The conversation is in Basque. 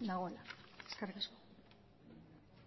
dagoela eskerrik asko